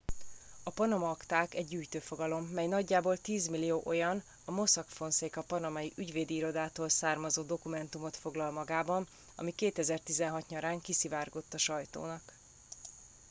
a panama akták egy gyűjtőfogalom mely nagyjából tízmillió olyan a mossack fonseca panamai ügyvédi irodától származó dokumentumot foglal magában ami 2016 nyarán kiszivárgott a sajtónak